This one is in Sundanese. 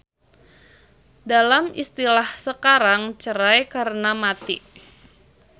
Dalam istilahsekarangcerai karena mati.